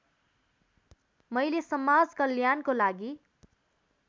मैले समाजकल्याणको लागि